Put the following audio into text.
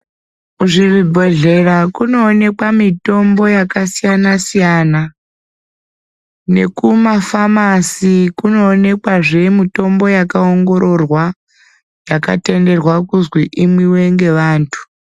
Kuzvibhedhlera kunoonekwa mitombo yakasiyana siyana. Nekumafamasi kunoonekwazve mitombo yakaongororwa yakatenderwa kuzwi imwiwe ngevantu.